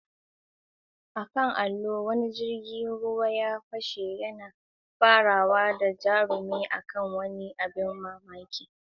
A kan allo, wani jirgin ruwa ya fashe, yana farawa da jarumi a kan wani abin ban mamaki na sci-fi.